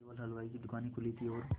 केवल हलवाइयों की दूकानें खुली थी और